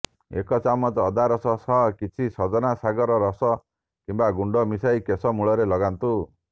ଏକ ଚାମଚ ଅଦା ରସ ସହ କିଛି ସଜନା ଶାଗର ରସ କିମ୍ବା ଗୁଣ୍ଡ ମିଶାଇ କେଶ ମୂଳରେ ଲଗାନ୍ତୁ